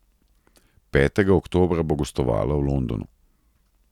Petega oktobra bo gostovala v Londonu.